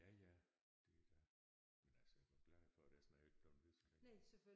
Ja ja det er da men altså jeg var glad for det essen havde jeg ikke blevet ved så længe